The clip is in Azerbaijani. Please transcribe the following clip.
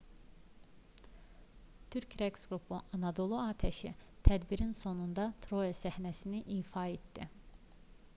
türk rəqs qrupu anadolu atəşi tədbirin sonunda troya səhnəsini ifa etdi